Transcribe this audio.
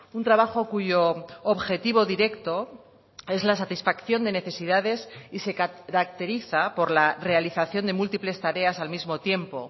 un trabajo cuyo objetivo directo es la satisfacción de necesidades y se caracteriza por la realización de múltiples tareas al mismo tiempo